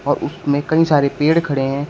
और उसमें कई सारे पेड़ खड़े हैं।